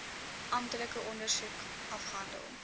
amptelike ondersoek afgehandel